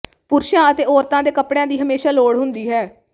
ਪੁਰਸ਼ਾਂ ਅਤੇ ਔਰਤਾਂ ਦੇ ਕੱਪੜਿਆਂ ਦੀ ਹਮੇਸ਼ਾਂ ਲੋੜ ਹੁੰਦੀ ਹੈ